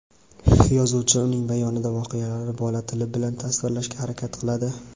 yozuvchi uning bayonida voqealarni bola tili bilan tasvirlashga harakat qiladi.